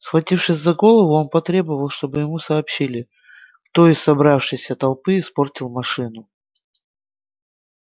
схватившись за голову он потребовал чтобы ему сообщили кто из собравшейся толпы испортил машину